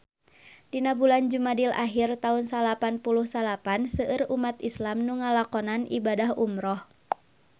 Dina bulan Jumadil ahir taun salapan puluh salapan seueur umat islam nu ngalakonan ibadah umrah